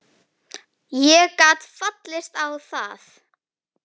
Ég gat fallist á það.